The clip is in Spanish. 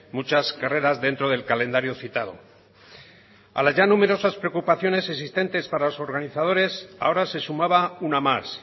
muchas carreras dentro del calendario citado a las ya numerosas preocupaciones existentes para los organizadores ahora se sumaba una más